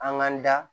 An k'an da